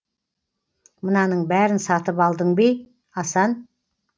мынаның бәрін сатып алдың ба ей асан